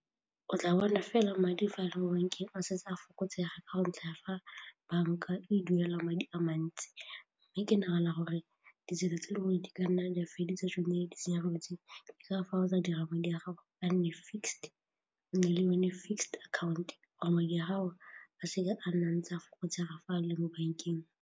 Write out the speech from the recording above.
O tla bona fela madi fa a bankeng o setse a fokotsega la ntlha fa banka e duela madi a mantsi mme ke nagana gore ditsela tse dingwe di ka nna di a fedisa tsone di tshenyegelo ka dira madi a gago a nne fixed yone fixed account wa madi a gago a seke a nna ntse a go tsaya fa a le mo bankeng.